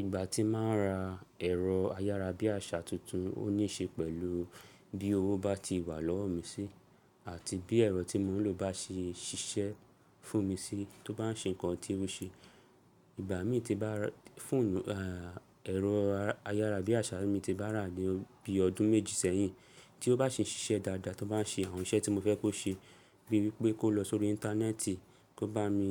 Ìgbà tí máa n ra ẹ̀rọ ayárabíàṣá tuntun, ó ní ṣe pẹ̀lú bí owó bá ti wà lọ́wọ́ mi sí àti bí ẹ̀rọ tí mò ń lò bá ṣe ṣiṣẹ́ fún mi sí tó bá ń ṣe nǹkan tí ó ṣe. Ìgbà mí tí bá fọ̀nù, ẹ́rọ ayárabíàṣá mi tí bá rà ní bí ọdún méjì sẹ́yìn tí ó bá ṣe ń ṣiṣẹ́ dáadáa, tó bá ń ṣe àwọn iṣẹ́ tí mo fẹ́ kó ṣe, bíi wípé kó lọ sórí íńtánẹ́ẹ̀tì, kó bá mi